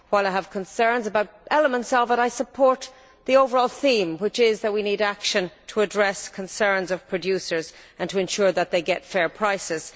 While I have concerns about elements of it, I support the overall theme, which is that we need action to address concerns of producers and to ensure that they get fair prices.